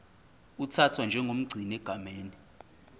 uthathwa njengomgcini egameni